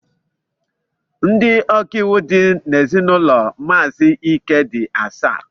Ndị ọkàiwu dị n'ezinụlọ maazi Ike dị asaa